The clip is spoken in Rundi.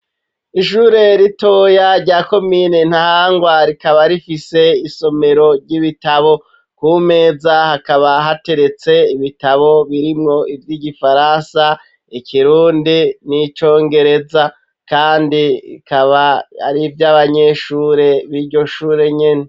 Ishure ritoya rya komine nta hangwa rikaba rifise isomero ry'ibitabo ku meza hakaba hateretse ibitabo birimwo ivyo igifaransa ekirundi n'icongereza, kandi ikaba arivyo abanyeshure biryo shure nyene.